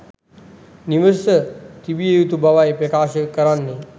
නිවස තිබිය යුතු බවයි ප්‍රකාශ කරන්නේ.